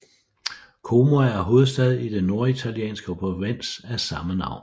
Como er hovedstad i den norditalienske provins af samme navn